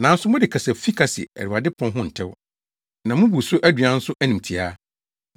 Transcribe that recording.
“Nanso mode kasa fi ka se Awurade pon ho ntew. Na mubu so aduan nso animtiaa.